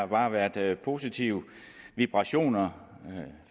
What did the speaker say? bare har været positive vibrationer